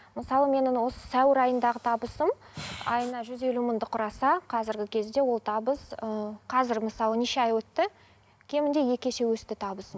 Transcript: мысалы менің осы сәуір айындағы табысым айына жүз елу мыңды құраса қазіргі кезде ол табыс ыыы қазір мысалы неше ай өтті кемінде екі есе өсті табысым